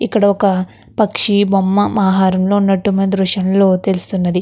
ఇక్కడ ఒక పక్షి బొమ్మ మాహరంలో ఉన్నట్టుంది దృశ్యంలో తెలుస్తున్నది.